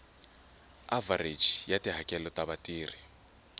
avhareji ya tihakelo ta vatirhi